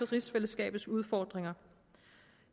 rigsfællesskabets udfordringer